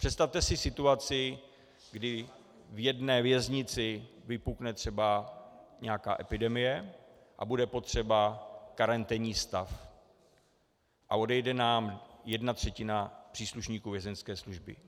Představte si situaci, kdy v jedné věznici vypukne třeba nějaká epidemie a bude potřeba karanténní stav a odejde nám jedna třetina příslušníků vězeňské služby.